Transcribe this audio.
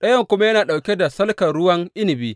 ɗayan kuma yana ɗauke da salkar ruwan inabi.